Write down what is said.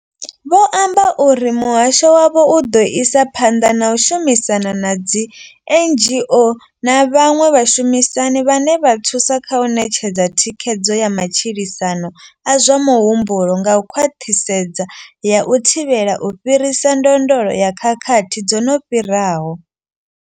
Vho amba uri muhasho wavho u ḓo isa phanḓa na u shumisana na dzi NGO na vhaṅwe vhashumisani vhane vha thusa kha u ṋetshedza thikhedzo ya matshilisano a zwa muhumbulo nga khwaṱhisedzo ya u thivhela u fhirisa ndondolo ya khakhathi dzo no fhiraho.